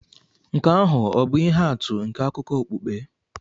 Nke ahụ ọ̀ bụ ihe atụ nke akụkọ okpukpe?